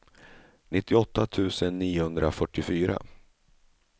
nittioåtta tusen niohundrafyrtiofyra